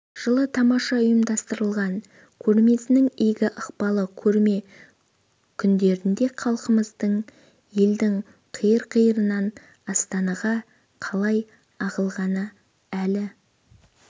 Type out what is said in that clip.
жылы тамаша ұйымдастырылған көрмесінің игі ықпалы көрме күндерінде халқымыздың елдің қиыр-қиырынан астанаға қалай ағылғаны әлі